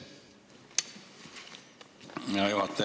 Hea juhataja!